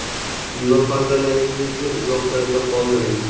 Mulohazalaringizni izohlarda qoldiring.